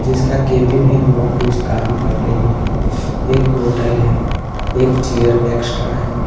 जिसका केबिन है वो कुछ काम कर रही है एक बॉटल है एक चेयर एक्स्ट्रा है।